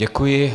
Děkuji.